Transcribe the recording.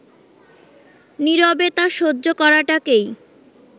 নীরবে তা সহ্য করাটাকেই